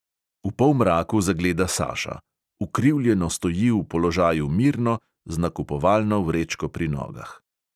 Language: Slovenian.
V polmraku zagleda saša: ukrivljeno stoji v položaju mirno, z nakupovalno vrečko pri nogah.